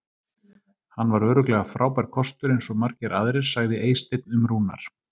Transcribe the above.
Hann var örugglega frábær kostur eins og margir aðrir sagði Eysteinn um Rúnar.